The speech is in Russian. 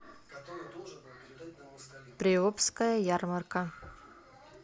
приобская ярмарка